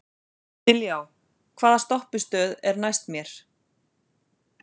Dilja, hvaða stoppistöð er næst mér?